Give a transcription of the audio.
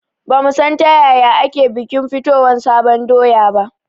Ba mu san ta yaya ake bikin fitowan sabon doya ba